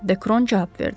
Dekron cavab verdi.